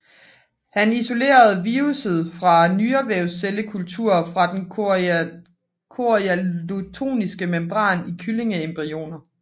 Han isolerede virussen fra nyrevævscellekultur og fra den chorioallantoiske membran i kyllingeembryoner